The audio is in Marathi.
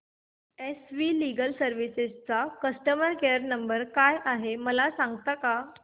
एस वी लीगल सर्विसेस चा कस्टमर केयर नंबर काय आहे मला सांगता का